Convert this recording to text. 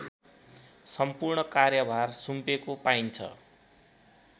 सम्पूर्ण कार्यभार सुम्पेको पाइन्छ